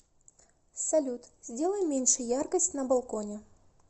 салют сделай меньше яркость на балконе